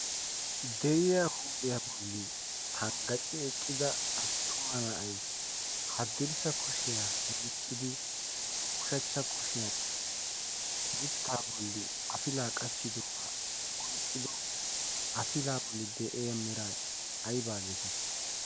deriya huuphiyaa bolli tanggaci eqqida attuma na'ay haddirssa kushiyaa miccidi ushachcha kushiyan mittaa bolli afilaa qachchidoogaa oyqqido afilaa bolli de'ea mera aybaa geetettii?